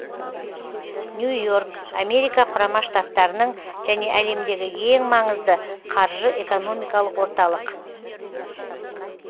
нью йорк америка құрама штаттарының және әлемдегі ең маңызды қаржы экономикалық орталық